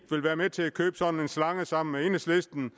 vil være med til at købe sådan en slange sammen med enhedslisten